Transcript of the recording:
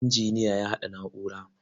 Injiniya ya haɗa na'ura.